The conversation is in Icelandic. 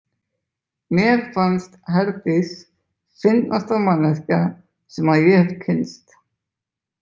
Mér fannst Herdís fyndnasta manneskja sem ég hef kynnst.